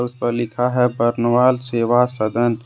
उस पर लिखा है बरनवाल सेवा सदन ।